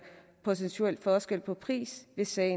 procentuel forskel på pris ved sager